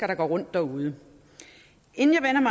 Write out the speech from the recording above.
der går rundt derude inden